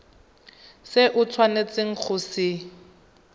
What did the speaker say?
se o tshwanetseng go se